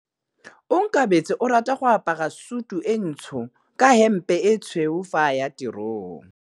Onkabetse o rata go apara sutu e ntsho ka hempe e tshweu fa a ya tirong.